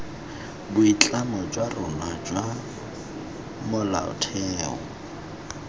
boitlamo jwa rona jwa molaotheo